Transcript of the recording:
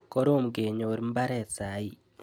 Korom kenyor mbaret saii